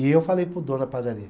E eu falei para o dono da padaria.